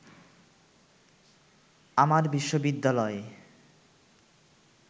আমার বিশ্ববিদ্যালয়ে